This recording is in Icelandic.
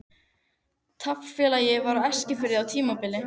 Taflfélag var á Eskifirði á tímabili.